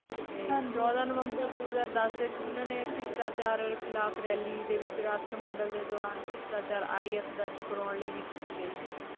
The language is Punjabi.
ਤੇ ਚੋਦਾ ਨਵੰਬਰ ਦੋ ਹਾਜ਼ਰ ਦੱਸ ਵਿਚ ਵੀ ਉਨ੍ਹਾਂ ਨੇ ਭਿਸ਼ਟਾਚਾਰ ਖ਼ਿਲਾਫ਼ ਰੈਲੀ ਦੇ ਵਿਚ ਰਾਸ਼੍ਟ੍ਰੀਅਮੰਡਲ ਦੇ ਦੌਰਾਨ ਭ੍ਰਿਸ਼ਟਾਚਾਰ ਦਰਜ ਕਰਾਉਣ ਲਈ ਵੀ ਕੀਤੀ ਗਈ ਸੀ